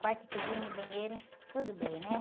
Quarto e cozinha, banheiro, tudo bem, né?